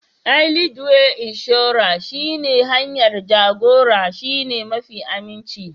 Ai Leadway Inshorar shi ne hanyar jagora shine mafi aminci